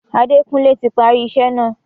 Adékunlé ti parí isẹ́ náà.